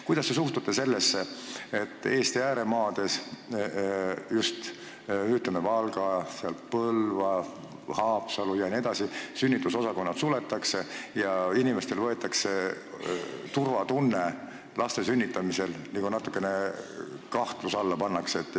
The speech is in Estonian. Kuidas te suhtute sellesse, et Eesti ääremaadel, just Valgas, Põlvas, Haapsalus jne, sünnitusosakonnad suletakse ja inimestelt võetakse turvatunne laste sünnitamisel, see pannakse nagu natukene kahtluse alla?